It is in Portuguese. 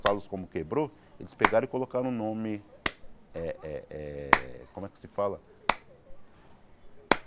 A sales como quebrou, eles pegaram e colocaram o nome eh eh... Como é que se fala?